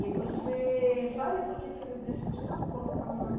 E você sabe por que que eles decidiram colocar o nome